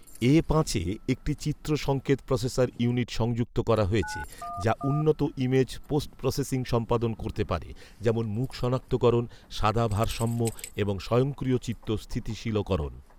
এ পাঁচে একটি চিত্র সংকেত প্রসেসর ইউনিট সংযুক্ত করা হয়েছে, যা উন্নত ইমেজ পোস্ট প্রসেসিং সম্পাদন করতে পারে, যেমন মুখ সনাক্তকরণ, সাদা ভারসাম্য এবং স্বয়ংক্রিয় চিত্র স্থিতিশীলকরণ